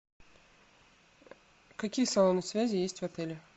какие салоны связи есть в отеле